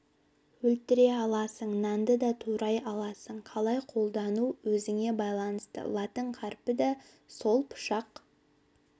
өлтіре аласың нанды да турай аласың қалай қолдану өзіңе байланысты латын қарпі да сол пышақ